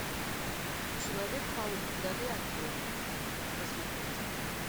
человек паук вдали от дома хочу посмотреть